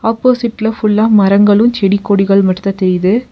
ஆப்போசிட்ல ஃபுல்லா மரங்களு செடி கொடிகள் மட்டு தா தெரியிது.